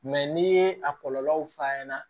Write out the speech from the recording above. Mɛ n'i ye a kɔlɔlɔw fɔ a ɲɛna